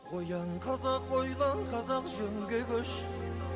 ояң қазақ ойлан қазақ жөнге көш